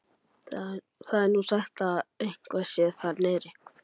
Það er nú sagt að eitthvað sé þar niðri.